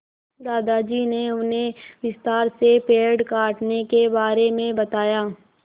दादाजी ने उन्हें विस्तार से पेड़ काटने के बारे में बताया